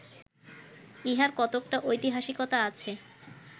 ইহার কতকটা ঐতিহাসিকতা আছে